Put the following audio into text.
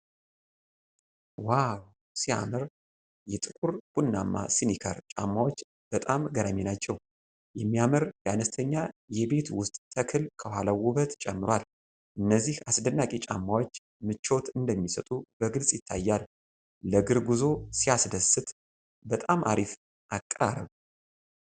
ዋው ሲያምር! የጥቁር ቡናማ ስኒከር ጫማዎች በጣም ገራሚ ናቸው። የሚያምር የአነስተኛ የቤት ውስጥ ተክል ከኋላው ውበት ጨምሯል። እነዚህ አስደናቂ ጫማዎች ምቾት እንደሚሰጡ በግልጽ ይታያል። ለእግር ጉዞ ሲያስደስት! በጣም አሪፍ አቀራረብ!